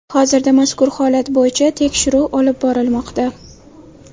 Hozirda mazkur holat bo‘yicha tekshiruv olib borilmoqda.